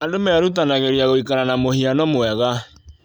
Andũ merutanagĩria gũikara na mũhiano mwega.